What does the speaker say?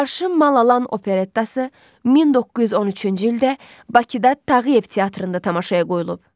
Arşın Mal Alan operettası 1913-cü ildə Bakıda Tağıyev teatrında tamaşaya qoyulub.